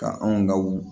Ka anw ka u